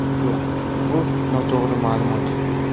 Yo‘q, bu noto‘g‘ri ma’lumot.